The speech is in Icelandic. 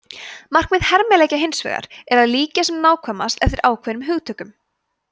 markmið hermileikja hins vegar er að líkja sem nákvæmast eftir ákveðnum hugtökum